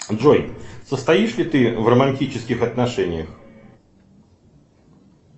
джой состоишь ли ты в романтических отношениях